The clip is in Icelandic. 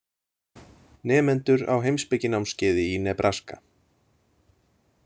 Nemendur á heimspekinámskeiði í Nebraska.